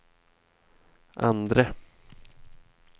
andre